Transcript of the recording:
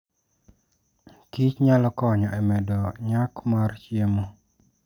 kich nyalo konyo e medo nyak mar chiemo.